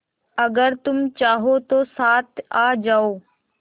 अगर तुम चाहो तो साथ आ जाओ